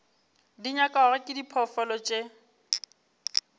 di nyakwago ke diphoofolo tše